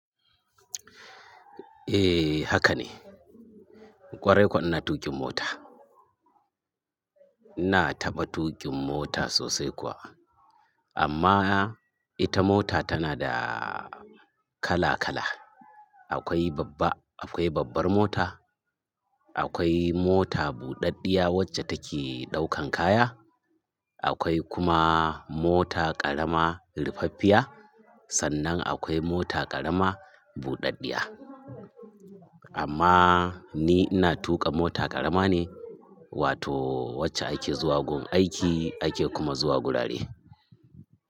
Eh haka ne. Kwarai kuwa ina tuƙin mota. Ina taɓa tuƙin mota sosai kuwa. Amma ita mota tana da kala kala. Akwai babba, akwai babbar mota, akwai mota buɗaɗɗiya wacce take ɗaukan kaya, akwai kuma mota ƙarama rifaffiya. Sannan akwai mota ƙarama buɗaɗɗiya. Amma ni ina tuƙa mota ƙarama ne wato wacce ake zuwa gun aiki ake kuma zuwa wurare.